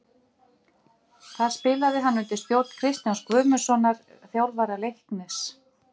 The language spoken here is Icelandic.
Þar spilaði hann undir stjórn Kristjáns Guðmundssonar, þjálfara Leiknis.